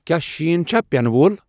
کیا شین چھا پینہٕ وۄل ؟